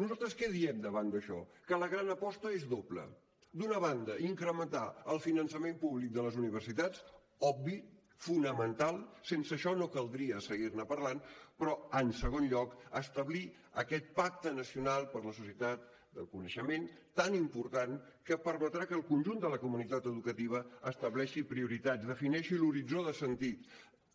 nosaltres què diem davant d’això que la gran aposta és doble d’una banda incrementar el finançament públic de les universitats obvi fonamental sense això no caldria seguir ne parlant però en segon lloc establir aquest pacte nacional per la societat del coneixement tan important que permetrà que el conjunt de la comunitat educativa estableixi prioritats defineixi l’horitzó de sentit